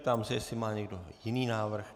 Ptám se, jestli má někdo jiný návrh.